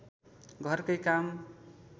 घरकै काम